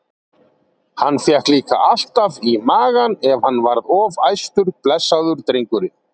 Hann fékk líka alltaf í magann ef hann varð of æstur, blessaður drengurinn.